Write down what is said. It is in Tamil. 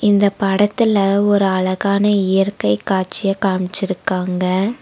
இந்தப் படத்துல ஒரு அழகான இயற்கை காட்சிய காம்ச்சிருக்காங்க.